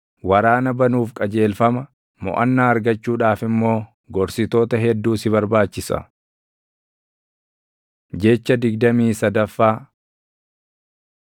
waraana banuuf qajeelfama, moʼannaa argachuudhaaf immoo gorsitoota hedduu si barbaachisa. Jecha digdamii sadaffaa